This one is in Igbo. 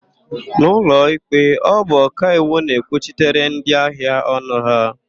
N'ụlọikpe, ọ bụ ọkaiwu na-ekwuchitere ndịahịa ọnụ ha.